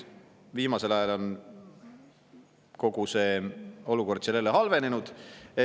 Viimasel ajal on kogu see olukord seal jälle halvenenud.